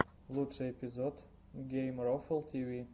лучший эпизод геймрофл тиви